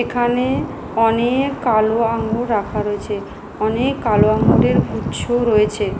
এখানে অনেক কালো আঙ্গুর রাখা রয়েছে অনেক কালো আঙুরের গুচ্ছও রয়েছে ।